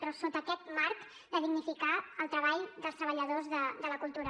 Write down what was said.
però sota aquest marc de dignificar el treball dels treballadors de la cultura